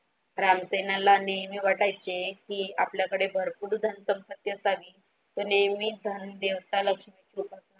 राम सेना नेहमी वाटायचे की आपल्याकडे भरपूर धनसंपत्ती असत तो नेहमी धन देवतांना .